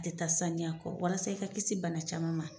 A tɛ taa saniya kɔ walasa i ka kisi bana caman ma.